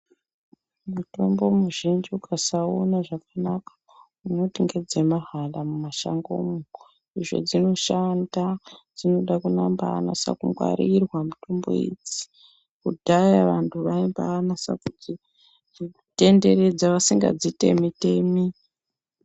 Mutombo muzhinji ukasawuona zvakanaka unoti ngedzemahala mumashangomwo izvo dzinoshanda, dzinobanase kuda kungwarirwa mitombo idzi. Kudhaya vantu vaimbanasa kudzitenderedza vasingadzitemi.